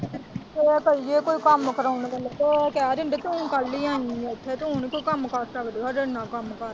ਜੇ ਕਹੀਏ ਕੋਈ ਕੰਮ ਕਰਵਾਉਣੇ ਵੇਲੇ ਤੇ ਕਹਿ ਦਿੰਦੇ ਕੀ ਹੁਣ ਕਾਹਦੇ ਲਈ ਆਈ ਏ ਇੱਥੇ ਤੂੰ ਨੀ ਕੋਈ ਕੰਮ ਕਰ ਸਕਦੀ ਹਜੇ ਇੰਨਾਂ ਕੰਮ ਕਰਦੀ।